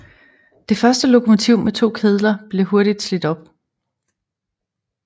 Det første lokomotiv med to kedler blev hurtigt slidt op